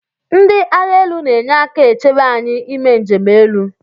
Ndi agha elu na enyeka echebe anyi ime nje 'elu.